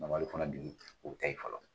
o tɛ.